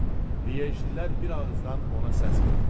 Lyejililər bir ağızdan ona səs verdilər.